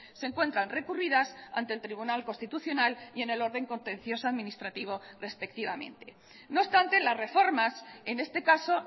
se encuentran recurridas ante el tribunal constitucional y en el orden contencioso administrativo respectivamente no obstante las reformas en este caso